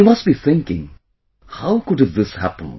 You must be thinking how could have this happened